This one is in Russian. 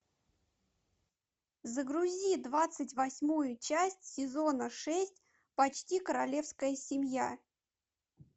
загрузи двадцать восьмую часть сезона шесть почти королевская семья